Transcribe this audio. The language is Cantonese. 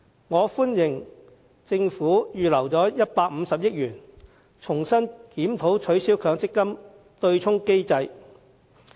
我歡迎政府預留150億元，重新檢討取消強積金對沖機制。